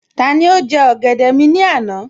Tani ó jẹ́ ọ̀gẹ̀dẹ̀ mi ní àná?